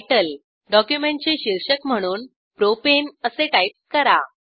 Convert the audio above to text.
तितले डॉक्युमेंटचे शीर्षक म्हणून प्रोपाने असे टाईप करा